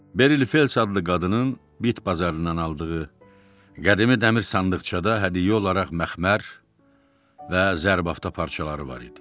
Berli Fels adlı qadının bit pazarından aldığı qədimi dəmir sandıqçada hədiyyə olaraq məxmər və zərbafda parçaları var idi.